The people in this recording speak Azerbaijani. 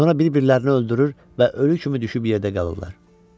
Sonra bir-birlərini öldürür və ölü kimi düşüb yerdə qalırlar.